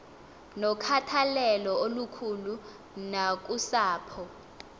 nokhathalelo olukhulu nakusapho